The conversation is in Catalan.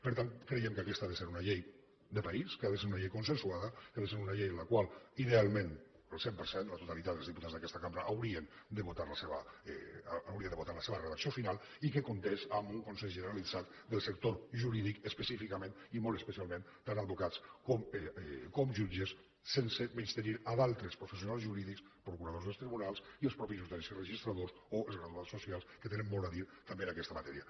per tant creiem que aquesta ha de ser una llei de país que ha de ser una llei consensuada que ha de ser una llei en la qual idealment el cent per cent la totalitat dels diputats d’aquesta cambra hauria de votar la seva redacció final i que comptés amb un consens generalitzat del sector jurídic específicament i molt especialment tant advocats com jutges sense menystenir altres professionals jurídics procuradors dels tribunals i els mateixos notaris i registradors o els graduats socials que tenen molt a dir també en aquesta matèria